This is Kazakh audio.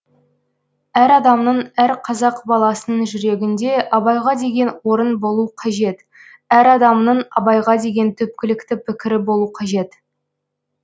әр адамның әр қазақ баласының жүрегіңде абайға деген орын болу қажет әр адамның абайға деген түпкілікті пікірі болу қажет